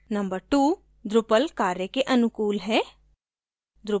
number 2: drupal कार्य के अनुकूल है